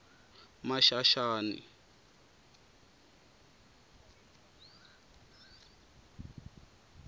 maxaxani